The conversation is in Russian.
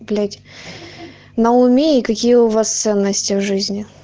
блять на уме и какие у вас ценности в жизни